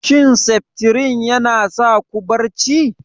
Shin Septrin yana sa ku barci?